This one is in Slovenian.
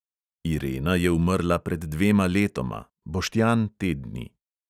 Irena je umrla pred dvema letoma, boštjan te dni.